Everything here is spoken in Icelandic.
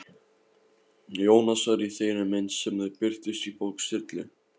Jónasar í þeirri mynd sem þau birtust í bók Sturlu?